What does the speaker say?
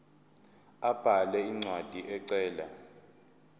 abhale incwadi ecela